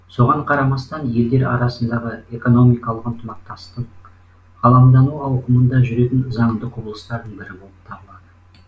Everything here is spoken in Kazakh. соған қарамастан елдер арасындағы экономикалық ынтымақтастың ғаламдану ауқымында жүретін заңды құбылыстардың бірі болып табылады